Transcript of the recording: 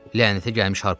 Lənətə gəlmiş harpunçu!